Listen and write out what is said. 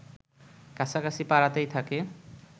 কাছাকাছি পাড়াতেই থাকি